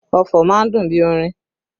Ọfọ̀ má ń dùn bí orin